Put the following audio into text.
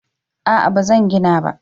A'a ba zan gina ba